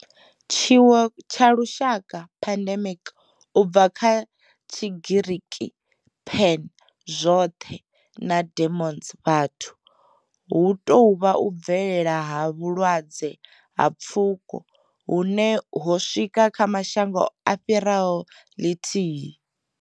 Tshiwo tsha lushaka pandemic, u bva kha tshigiriki pan, zwothe na demos, vhathu hu tou vha u bvelela ha vhulwadze ha pfuko hune ho swika kha mashango a fhiraho ḽithihi.